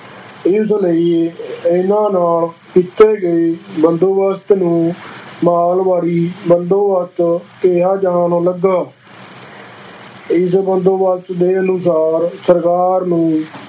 ਇਸ ਲਈ ਇਹਨਾਂ ਨਾਲ ਕੀਤੇ ਗਏ ਬੰਦੋਬਸਤ ਨੂੰ ਮਹਿਲਵਾੜੀ ਬੰਦੋਬਸਤ ਕਿਹਾ ਜਾਣ ਲੱਗਾ ਇਸ ਬੰਦੋਬਸਤ ਦੇ ਅਨੁਸਾਰ ਸਰਕਾਰ ਨੂੰ